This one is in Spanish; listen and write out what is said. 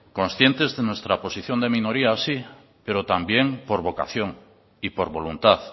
conscientes de nuestra posición de minoría sí pero también por vocación y por voluntad